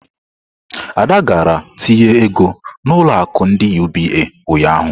Ada gara tinye ego na ulo akụ ndi UBA ụnyahụ.